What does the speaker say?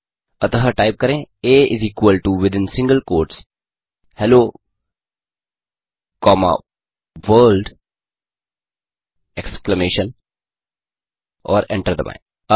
अतः टाइप करें आ within single quotes hello comma world exclamation और एंटर दबाएँ